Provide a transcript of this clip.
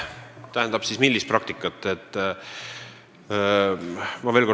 Tähendab, millist praktikat?